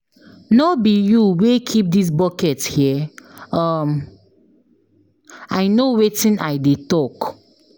No be you wey keep dis bucket here um? I no wetin I dey talk